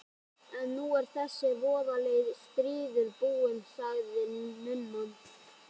En nú er þessi voðalegi stríður búinn, sagði nunnan.